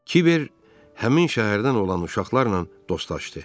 Kiber həmin şəhərdən olan uşaqlarla dostlaşdı.